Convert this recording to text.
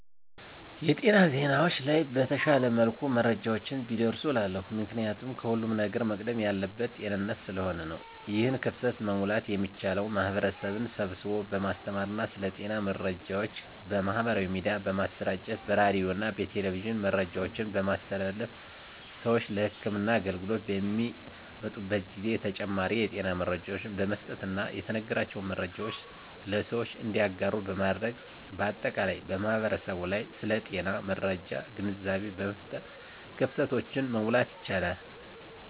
የጤና ዜናዎች ላይ በተሻለ መልኩ መረጃዎች ቢደርሱ እላለሁ። ምክንያቱም ከሁለም ነገር መቅደም ያለበት ጤንነት ስለሆነ ነው። ይህን ክፍተት መሙላት የሚቻለው ማህበረሰብን ስብስቦ በማስተማር ስለ ጤና መረጃዎች በማህበራዊ ሚዲያ በማሰራጨት በሬዲዮና በቴሌቪዥን መረጃዎችን በማስተላለፍ ስዎች ለህክምና አገልግሎት በሚመጡበት ጊዜ ተጨማሪ የጤና መረጃዎችን በመስጠትና የተነገራቸውን መረጃዎች ለሰዎች እንዲያጋሩ በማድረግ በአጠቃላይ በማህበረሰቡ ላይ ስለ ጤና መረጃ ግንዛቤ በመፍጠር ክፍተቶችን መሙላት ይቻላል።